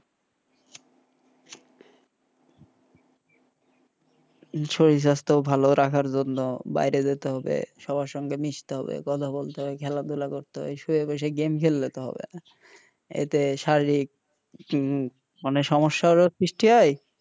শরীর স্বাস্থ্য ভালো রাখার জন্য বাইরে যেতে হবে সবার সঙ্গে মিশতে হয় কথা বলতে হয় খেলা ধুলা করতে হয় এই বয়সে game খেললে তো হবে না এতে শারীরিক হম মানে সমস্যারও সৃষ্টি হয়,